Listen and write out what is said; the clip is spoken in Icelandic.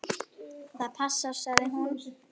Það passar, sagði hún.